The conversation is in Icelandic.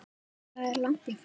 Það er langt í frá.